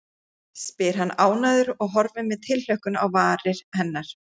spyr hann ánægður og horfir með tilhlökkun á varir hennar.